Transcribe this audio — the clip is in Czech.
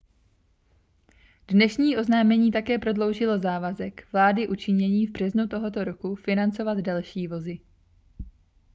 dnešní oznámení také prodloužilo závazek vlády učiněný v březnu tohoto roku financovat další vozy